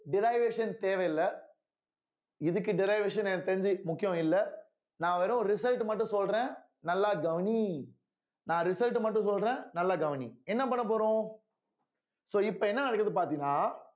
derivation தேவையில்ல இதுக்கு derivation எனக்கு தெரிஞ்சு முக்கியம் இல்ல நான் வெறும் result மட்டும் சொல்றேன் நல்லா கவனி நான் result மட்டும் சொல்றேன் நல்லா கவனி என்ன பண்ண போறோம் so இப்ப என்ன நடக்குதுன்னு பார்த்தீங்கன்னா